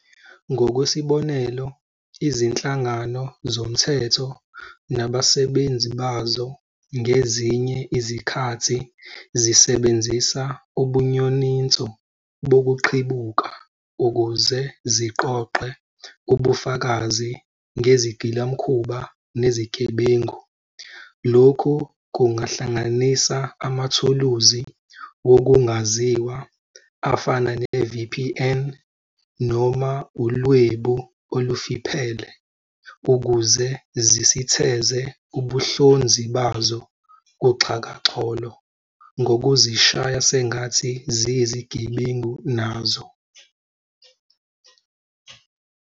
Ngokwesibonelo, izinhlangano zomthetho nabaswbenzi bazo ngezinye izikhathi zisebenzisa ubunyoninco bokuqhibuka ukuze ziqoqe ubufakazi ngezigilamkhuba nezigebengu. Lokhu kungahlanganisa amathuluzi wokungaziwa, afana ne-VPN, noma ulwebu olufiphele, ukuze zisitheze ubuhlonzi bazo kuxhakaxholo, ngokuzishaya sengathi ziyizigebengu nazo.